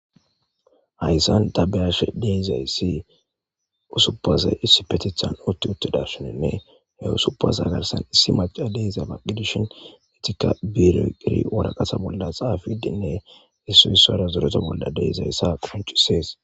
hayssan ta beyashe deizayssi usubasay issi petethan otti uttadabsinenne he usubase hagarsan issi maca deiza baqidishin mitika biroqiri woraqasa bolla xaafidinne issu issara zureta bolla deizayssa quncisees